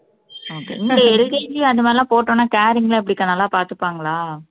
okayLKG அந்த மாதிரி எல்லாம் போட்டோம்னா caring ல எப்படி அக்கா நல்லா பாத்துப்பாங்களா